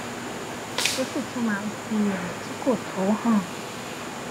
ó sì tún máa ń fi èrò tí kò tó hàn